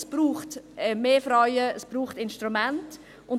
Es braucht mehr Frauen, es braucht Instrumente.